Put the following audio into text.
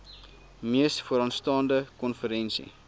mees vooraanstaande konferensie